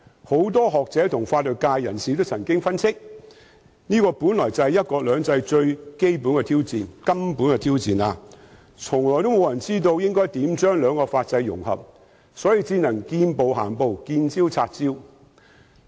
不少學者和法律界人士都曾分析，這是"一國兩制"最根本的挑戰，沒有人知道應如何將兩種法制融合，所以我們只能見步行步、見招拆招。